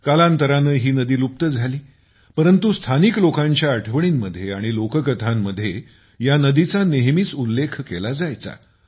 कालांतराने ही नदी लुप्त झाली परंतु स्थानिक लोकांच्या आठवणींमध्ये आणि लोककथांमध्ये या नदीचा नेहमीच उल्लेख केला जायचा